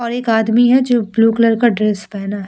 और एक आदमी है जो ब्लू कलर का ड्रेस पेहना है ।